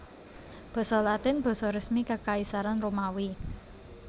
Basa Latin basa resmi Kakaisaran Romawi